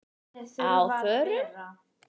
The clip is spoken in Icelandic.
Á FÖRUM?